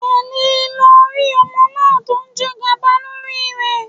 Tẹ̀lé e lọ rí ọmọ náà tó jẹgàba lórí rẹ